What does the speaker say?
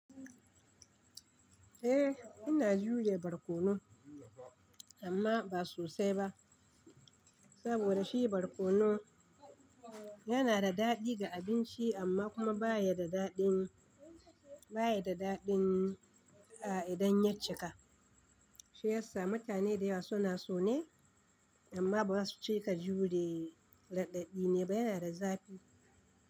Eh ina juya barkono amma ba sosai ba saboda shi barkono yana da daɗi ga abinci amma kuma baya da daɗin baya da daɗin a idon yacika shiyasa mutane da yawa suna so ne amma bazasu cika jure radadi ne ba yana da zafi.